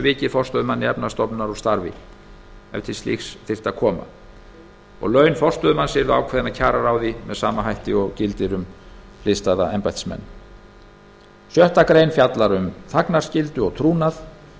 vikið forstöðumanni efnahagsstofnunar úr starfi ef til slíks þyrfti að koma laun forstöðumanns yrðu ákveðin af kjararáði með sama hætti og gildir um hliðstæða embættismenn sjöttu grein fjallar um þagnarskyldu og trúnað